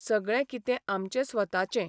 सगळें कितें आमचें स्वताचें.